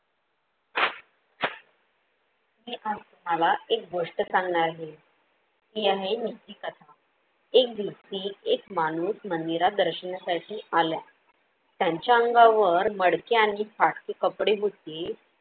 मी आज तुम्हाला एक गोष्ट सांगणार आहे. ती आहे कथा. एक दिवशी एक माणूस मंदिरात दर्शनासाठी आल्या. त्यांच्या अंगावर मडके आणि फाटके कपडे होते.